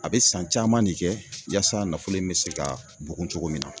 A be san caman de kɛ yaasa nafolo in be se ka bugun cogo min na.